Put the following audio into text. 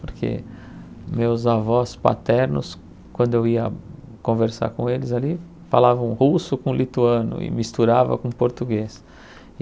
Porque meus avós paternos, quando eu ia conversar com eles ali, falavam russo com lituano e misturava com português.